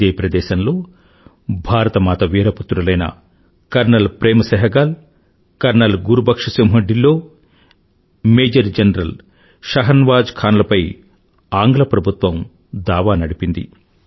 ఇదే ప్రదేశంలో భారతమాత వీరపుత్రులైన colonel Prem Sehgal colonel Gurbaksh Singh Dhillon major general Shahnawaz Khan లపై ఆంగ్ల ప్రభుత్వం దావా నడిపింది